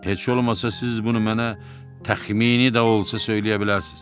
Heç olmasa siz bunu mənə təxmini də olsa söyləyə bilərsiniz.